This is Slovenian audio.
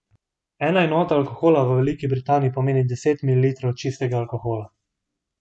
Ena enota alkohola v Veliki Britaniji pomeni deset mililitrov čistega alkohola.